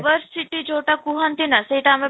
diversity ଯଉଟା କୁହନ୍ତି ନା ସେଇଟା ଆମେ